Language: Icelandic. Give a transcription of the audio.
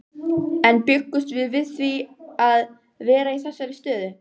En bjuggumst við við því að vera í þessari stöðu?